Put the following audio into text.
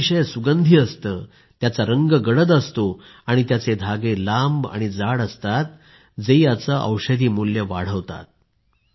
ते अतिशय सुगंधी असतं त्याचा रंग गडद असतो आणि याचे धागे लांब आणि जाडे असतात जे याचे औषधी मूल्य वाढवतात